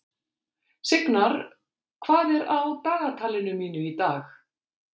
Signar, hvað er á dagatalinu mínu í dag?